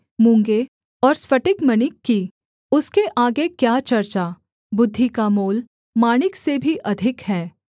मूँगे और स्फटिकमणि की उसके आगे क्या चर्चा बुद्धि का मोल माणिक से भी अधिक है